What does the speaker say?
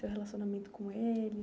Seu relacionamento com eles?